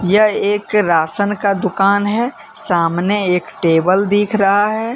यह एक राशन का दुकान हैसामने एक टेबल दिख रहा है।